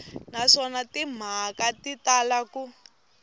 naswona timhaka ti tala ku